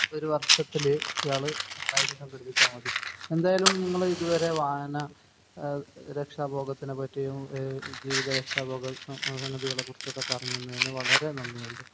ഒരു വർഷത്തില് ഇയാള് രണ്ടായിരം സംഘടിപ്പച്ചാൽ മതി. എന്തായാലും നിങ്ങൾ ഇതുവരെ വാഹന രക്ഷാഭോഗത്തിനെ പറ്റിയും ജീവിത രക്ഷാ ഭോഗ സംഗതികളെ കുറിച്ച്ഒക്കെ പറഞ്ഞ് തന്നതിന് വളരെ നന്ദി ഉണ്ട്.